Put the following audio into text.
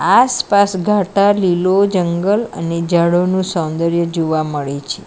આસપાસ ઘાટા લીલો જંગલ અને જળોનું સૌંદર્ય જોવા મળે છે.